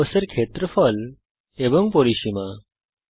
রম্বসের ক্ষেত্রফল এবং পরিসীমা